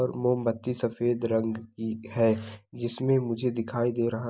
पर मोमबत्ती सफेद रंग की है| इसमें मुझे दिखाई दे रहा ह